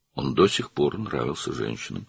O, hələ də qadınların xoşuna gəlirdi.